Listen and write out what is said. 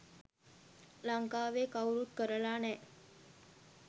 ලංකාවේ කවුරුත් කරල නෑ.